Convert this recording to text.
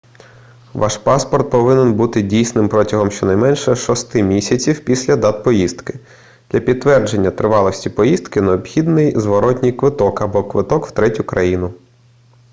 ваш паспорт повинен бути дійсним протягом щонайменше 6 місяців після дат поїздки для підтвердження тривалості поїздки необхідний зворотній квиток або квиток в третю країну